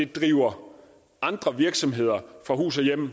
drive andre virksomheder fra hus og hjem